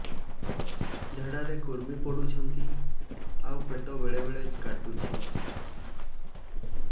ଝାଡା ରେ କୁର୍ମି ପଡୁଛନ୍ତି ଆଉ ପେଟ ବେଳେ ବେଳେ କାଟୁଛି